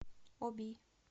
оби